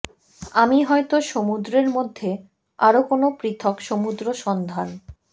আমি হয়তো সমুদ্রের মধ্যে আরো কোনো পৃথক সমুদ্র সন্ধান